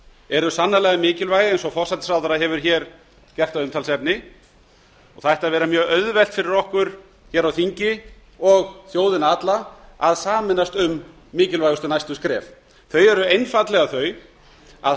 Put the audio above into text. eru sannarlega mikilvæg eins og forsætisráðherra hefur gert að umtalsefni og það ætti að vera mjög auðvelt fyrir okkur hér á þingi og þjóðina alla að sameinast um mikilvægustu næstu skref þau eru einfaldlega þau að